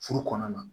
Furu kɔnɔna na